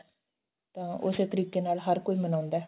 ਤਾਂ ਉਸੇ ਤਰੀਕੇ ਨਾਲ ਹਰ ਕੋਈ ਮਨਾਉਂਦਾ